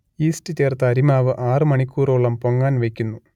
yeast ചേർത്ത അരിമാവ് ആറു മണിക്കൂറോളം പൊങ്ങാൻ വെക്കുന്നു